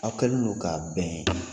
Aw kɛlen don k'a bɛn .